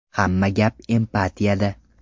Hamma gap empatiyada.